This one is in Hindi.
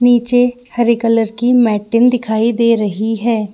नीचे हरे कलर की मेटिंग दिखाई दे रही हैं।